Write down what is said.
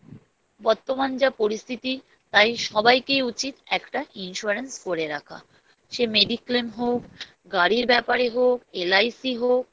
বর্তমান যা পরিস্থিতি তাই সবাইকেই উচিৎ একটা Insurance করে রাখা সে Mediclaim হোক গাড়ির ব্যাপারে হোক LIC হোক